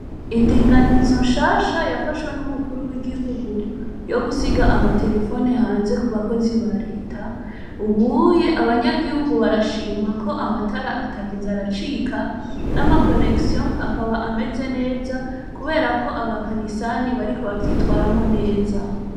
Indinganizo nshasha yafashwe n'umukuru w'igihugu yo gusiga amaterefone hanze kubakozi ba Reta, ubu abanyagihugu barashima ko amatara atakiza aracika, n'amakonegisiyo akaba ameze neza kubera ko abakanisani bariko bavyitwaramwo neza.